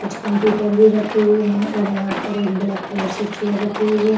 कुछ कंप्यूटर भी रखे हुए हैं और यहाँ पर एक ब्लैक कलर से चेयर रखी हुई है।